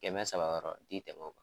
Kɛmɛ saba yɔrɔ n ti tɛmɛ o kan.